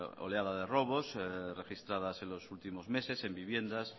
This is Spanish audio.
oleada de robos registradas en los últimos meses en viviendas